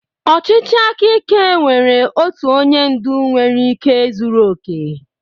Ọchịchị aka ike nwere otu onye ndu nwere ike zuru oke.